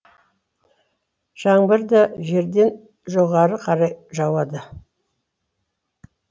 жаңбыр да жерден жоғары қарай жауады